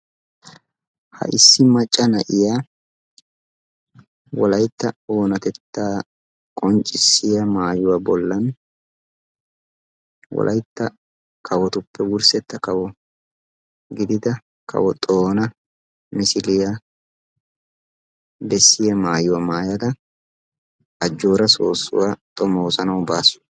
Ha issi macca na'iya wolaytta oonatetta qonccissiya maayuwa bollan wolaytta kawotuppe wurssetta kawo gidida kawo Xoona misiliya besiya maayuwa maayada ajjooraa soossuwa xoommoosanawu baasu.